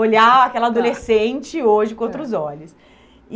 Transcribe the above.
Olhar aquela adolescente hoje com outros olhos.